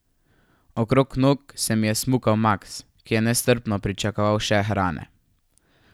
Okrog nog se mi je smukal Maks, ki je nestrpno pričakoval še hrane.